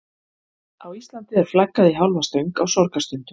Á Íslandi er flaggað í hálfa stöng á sorgarstundum.